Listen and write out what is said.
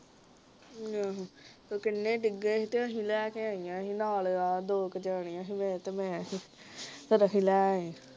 ਆਹੋ ਤੇ ਉਹ ਕਿੰਨੇ ਡਿਗੇ ਸੀ ਤੇ ਅਸੀਂ ਲੈ ਕੇ ਆਇਆ ਸੀ ਨਾਲ ਆ ਕੇ ਦੋ ਜਣਿਆ ਸੀ ਆਹ ਤੇ ਮੈਂ ਸੀ ਫੇਰ ਅਸੀਂ ਲੈ ਆਏ